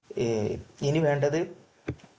ഇനി വേണ്ടത്